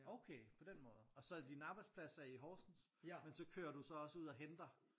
Okay på den måde og så din arbejdsplads er i Horsens men så kører du så også ud og henter?